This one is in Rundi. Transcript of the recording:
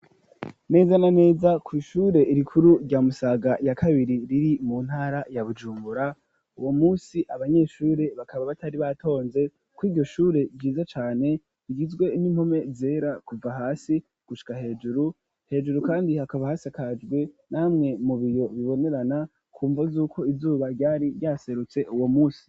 Neza na neza kw'ihure rikuru rya Musaga ya kabiri riri mu ntara ya Bujunbura, uwo munsi abanyeshure bakaba batari batonze kw'iryo shure ryiza cane, rigizwe n'impome zera kuva hasi gushika hejuru, hejuru kandi hakaba hasakajwe namwe mu biyo bibonerana kumvo y'uko izuba ryari ryaserutse uwo munsi.